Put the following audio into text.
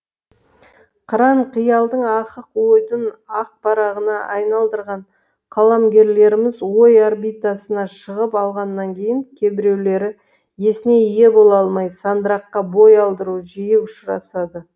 қыран қиялдың ақық ойдың ақ парағына айналдырған қаламгерлеріміз ой орбитасына шығып алғаннан кейін кебіреулері есіне ие бола алмай сандыраққа бой алдыру жиі ұшырасады